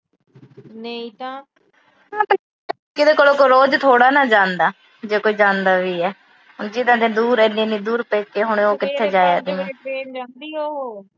ਕੋਈ ਰੋਜ ਥੋੜਾ ਨਾ ਜਾਂਦਾ ਜੇ ਕੋਈ ਜਾਂਦਾ ਵੀ ਆ। ਅੱਗੇ ਤਾਂ ਇੰਨੀ ਦੂਰ ਆ, ਇੰਨੀ-ਇੰਨੀ ਦੂਰ ਪੇਕੇ ਹੋਣ, ਤੇ ਕਿੱਥੇ ਜਾਇਆ ਜਾਂਦਾ।